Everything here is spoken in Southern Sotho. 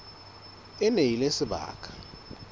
e ne e le sebaka